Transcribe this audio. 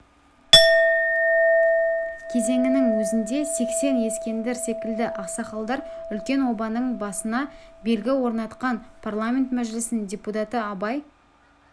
кезеңінің өзінде сексен ескендір секілді ақсақалдар үлкен обаның басына белгі орнатқан парламент мәжілісінің депутаты абай